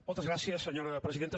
moltes gràcies senyora presidenta